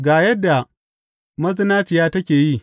Ga yadda mazinaciya take yi.